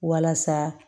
Walasa